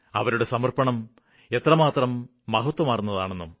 അവരുടെ സമര്പ്പണം എത്രമാത്രം മഹത്വമാര്ന്നതെന്നും